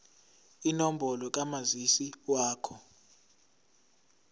inombolo kamazisi wakho